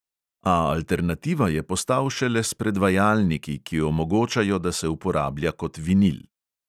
A alternativa je postal šele s predvajalniki, ki omogočajo, da se uporablja kot vinil.